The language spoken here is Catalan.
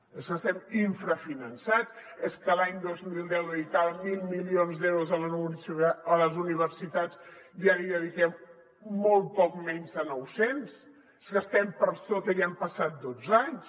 és que estem infrafinançats és que l’any dos mil deu dedicàvem mil milions d’euros a les universitats i ara hi dediquem molt poc menys de nou cents és que estem per sota i han passat dotze anys